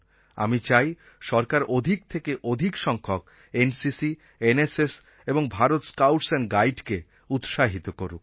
আমি চাই সরকার অধিক থেকে অধিক সংখ্যক এনসিসি এনএসএস এবং ভারত স্কাউটস এন্ড Guideকে উৎসাহিত করুক